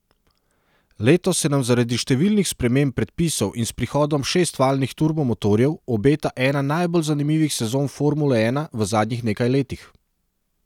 Letos se nam zaradi številnih sprememb predpisov in s prihodom šestvaljnih turbo motorjev obeta ena najbolj zanimivih sezon formule ena v zadnjih nekaj letih.